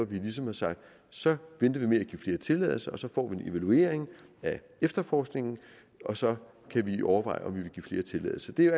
vi ligesom har sagt at så venter vi med at give flere tilladelser og så får vi en evaluering af efterforskningen og så kan vi overveje om vi vil give flere tilladelser det er